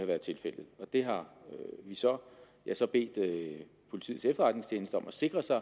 været tilfældet det har jeg så bedt politiets efterretningstjeneste om at sikre sig